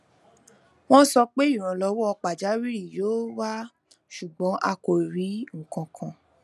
wọn sọ pé ìrànlọwọ pajawiri yóò wá ṣùgbọn a kò rí nkankan